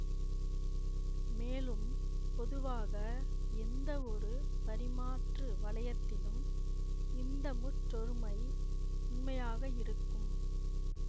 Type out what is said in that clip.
மேலும் பொதுவாக எந்தவொரு பரிமாற்று வளையத்திலும் இந்த முற்றொருமை உண்மையாக இருக்கும்